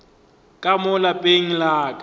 ka mo lapeng la ka